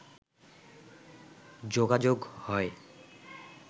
যোগাযোগ হয়